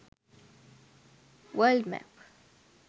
world map